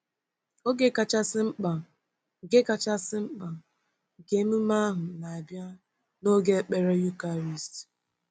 Oge kachasị mkpa nke kachasị mkpa nke emume ahụ na-abịa n’oge ekpere Eucharist.